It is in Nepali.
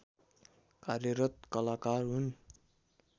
कार्यरत कलाकार हुन्